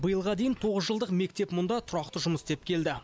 биылға дейін тоғыз жылдық мектеп мұнда тұрақты жұмыс істеп келді